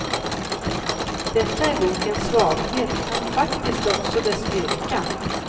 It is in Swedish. Detta är bokens svaghet men faktiskt också dess styrka.